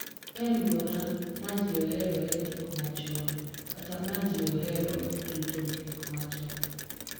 E alwora ma ji oheroe gik machon kata ma ji ohero rito gik machon,